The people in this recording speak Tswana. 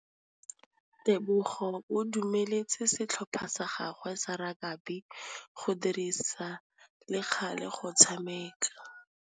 Tebogô o dumeletse setlhopha sa gagwe sa rakabi go dirisa le galê go tshameka.